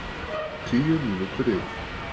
Tíu mínútur yfir